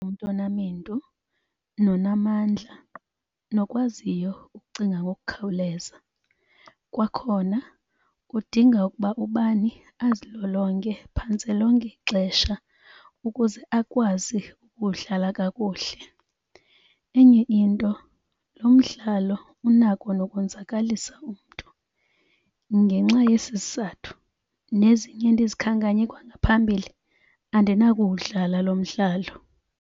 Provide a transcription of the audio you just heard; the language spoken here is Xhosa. Umntu onamendu nonamandla, nokwaziyo ukucinga ngokukhawuleza. Kwakhona kudinga ukuba ubani azilolonge phantse lonke ixesha ukuze akwazi ukudlala kakuhle. Enye into lo mdlalo unako nokonzakalisa umntu. Ngenxa yesi sizathu nezinye endizikhankanye kwangaphambili, andinakuwudlala lo mdlalo.